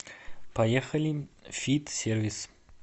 поехали фит сервис